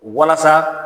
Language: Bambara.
Walasa